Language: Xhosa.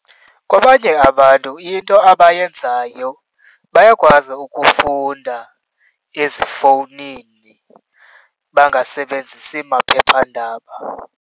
Kwabanye abantu into abayenzayo bayakwazi ukufunda ezifowunini, bangasebenzisi maphephandaba.